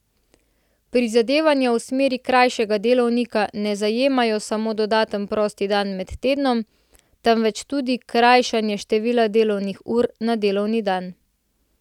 Prizadevanja v smeri krajšanja delovnika ne zajemajo samo dodaten prosti dan med tednom, temveč tudi krajšanje števila delovnih ur na delovni dan.